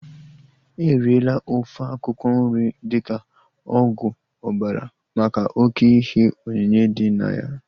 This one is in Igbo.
Eriela ofe akwụkwọ nri dịka ọgwụ ọbara maka oké ihe onyinye dị na ya